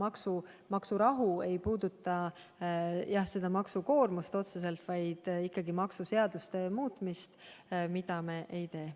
Aga maksurahu ei puuduta maksukoormust otseselt, vaid ikkagi maksuseaduste muutmist, ja seda me ei tee.